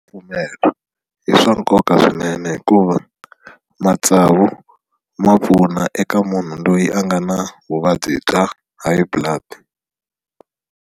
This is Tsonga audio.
Pfumela i swa nkoka swinene hikuva matsavu ma pfuna eka munhu loyi a nga na vuvabyi bya High blood.